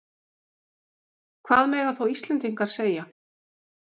Hvað mega þá Íslendingar segja?